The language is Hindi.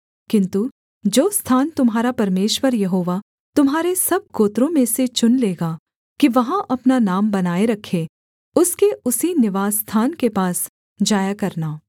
किन्तु जो स्थान तुम्हारा परमेश्वर यहोवा तुम्हारे सब गोत्रों में से चुन लेगा कि वहाँ अपना नाम बनाए रखे उसके उसी निवासस्थान के पास जाया करना